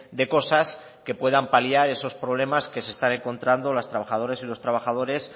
de cosas que puedan paliar esos problemas que se están encontrando las trabajadoras y los trabajadores